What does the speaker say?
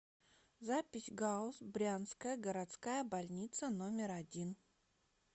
запись гауз брянская городская больница номер один